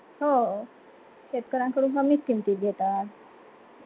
हो शेतकड्या करून कमी किमतीत घेतात